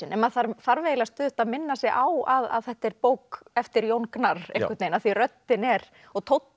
maður þarf þarf eiginlega stöðugt að minna sig á að þetta er bók eftir Jón Gnarr af því röddin er og tónninn